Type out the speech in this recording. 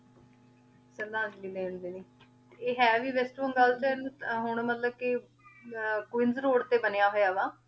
ਸ਼ਰਧਾਂਜਲੀ ਦਿਨ ਦੇ ਵਿਚ ਆਯ ਹੀ ਵੀ ਵੇਸ੍ਟ ਬਨਾਗਲ ਸੀੜੇ ਹੁਣ ਮਤਲਬ ਕੇ ਕੁਈਨ੍ਸ ਰੋਆਦ ਤੇ ਬਨਯ ਹੋਯਾ ਵਾ